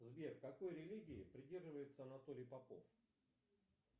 сбер какой религии придерживается анатолий попов